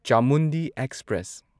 Chamundi express